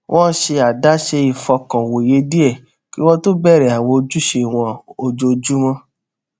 wón ṣe àdáṣe ìfọkànwòye díẹ kí wón tó bèrè àwọn ojúṣe wọn ojoojúmó